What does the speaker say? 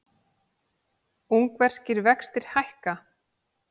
Ungverskir vextir hækka